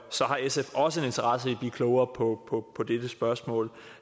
har sf også en interesse i at blive klogere på dette spørgsmål